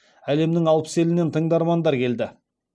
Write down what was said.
әлемнің алпыс елінен тыңдармандар келді